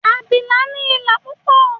abilà ni ìlà púpò